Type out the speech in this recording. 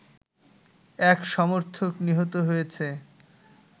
এক সমর্থক নিহত হয়েছে